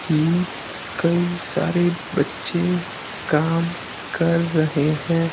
की कई सारे बच्चे काम कर रहे हैं।